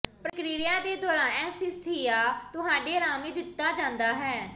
ਪ੍ਰਕਿਰਿਆ ਦੇ ਦੌਰਾਨ ਅਨੱਸਥੀਸੀਆ ਤੁਹਾਡੇ ਆਰਾਮ ਲਈ ਦਿੱਤਾ ਜਾਂਦਾ ਹੈ